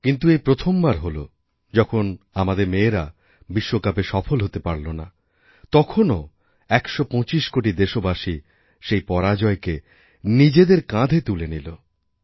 কিন্তু এই প্রথমবার হল যখন আমাদের মেয়েরাবিশ্বকাপে সফল হতে পারল না তখনও একশো পঁচিশ কোটি দেশবাসী সেই পরাজয়কে নিজেদেরকাঁধে তুলে নিল